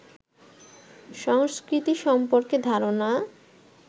সংস্কৃতি সম্পর্কে ধারণা